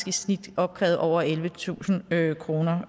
i snit opkrævede over ellevetusind kroner